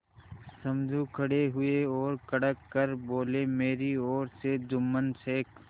समझू खड़े हुए और कड़क कर बोलेमेरी ओर से जुम्मन शेख